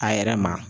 A yɛrɛ ma